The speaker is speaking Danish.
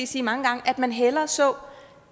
sige mange gange at man hellere så